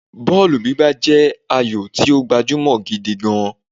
Bọ́ọ̀lù gbígbá jẹ́ ayò tí ó gbajúmọ̀ gidi gan-an